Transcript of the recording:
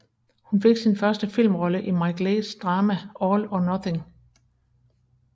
Hun fik sin første filmrolle i Mike Leighs drama All or Nothing